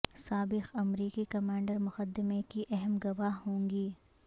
سابق امریکی کمانڈر مقدمے کی اہم گواہ ہوں گی